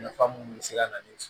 Nafa mun be se ka na ni